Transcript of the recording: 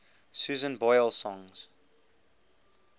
susan boyle songs